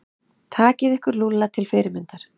Takið ykkur Lúlla til fyrirmyndar.